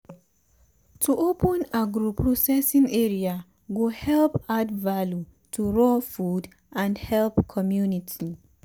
to open agro processing area go help add value to raw food and help community.